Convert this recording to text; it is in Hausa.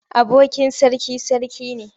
Abokin sarki sarki ne.